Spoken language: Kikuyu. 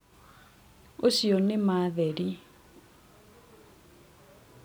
ũcionĩ ma theri